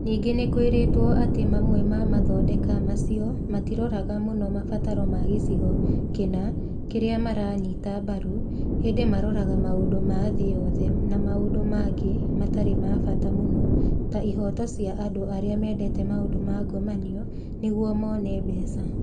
Ningĩ nĩ kwĩrĩtwo atĩ mamwe ma mathondeka macio matiroraga mũno mabataro ma gĩcigo kĩna kĩrĩa maranyita mbaru, ĩndĩ maroraga maũndũ ma thĩ yothe na maũndũ mangĩ matarĩ ma bata mũno (ta ihoto cia andũ arĩa mendete maũndũ ma ngomanio) nĩguo mone mbeca.